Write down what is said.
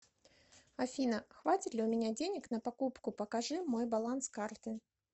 афина хватит ли у меня денег на покупку покажи мой баланс карты